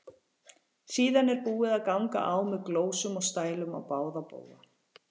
Síðan er búið að ganga á með glósum og stælum á báða bóga.